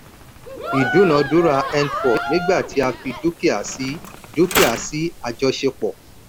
ìdúnadúrà n4 nígbà tí a fi dúkìá sí dúkìá sí àjọṣepọ̀.